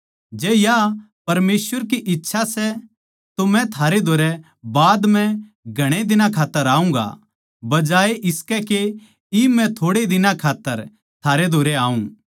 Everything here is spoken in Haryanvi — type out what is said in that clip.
जै या परमेसवर की इच्छा सै तो मै थारे धोरै बाद म्ह घणे दिनां खात्तर आऊँगा बजाए इसके के इब मै थोड़ै दिनां खात्तर थारे धोरै आऊँ